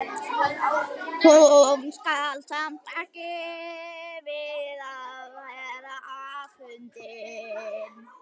Hún kann samt ekki við að vera afundin.